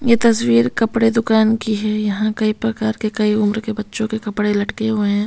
ये तस्वीर कपड़े दुकान की है यहां कई प्रकार के कई उम्र के बच्चों के कपड़े लटके हुए हैं।